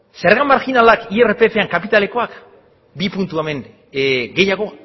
zerga marjinalak irpfan kapitalekoak bi puntu hemen gehiago